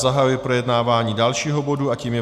Zahajuji projednávání dalšího bodu a tím je